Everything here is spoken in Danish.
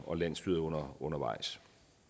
og landsstyret undervejs